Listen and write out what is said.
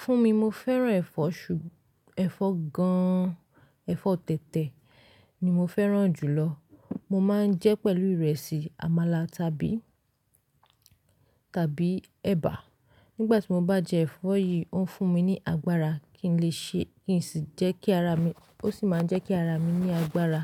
Fún mi, mo fẹ́ràn ẹ̀fọ́ ṣú, ẹ̀fọ́ gan, ẹ̀fọ́ tẹ̀tẹ̀ ni mo fẹ́ràn jùlọ. Mo máa ń jẹ́ pẹ̀lú ìrẹsì, àmàlà tàbí, tàbí ẹba. Nígbà tí mo bá jẹ ẹ̀fọ́ yìí, ó ń fún mi ní agbára kí n lè ṣe ki n sì jẹ́ kí ara mi, ó sì máa ń jẹ́ kí ara mi ní agbára.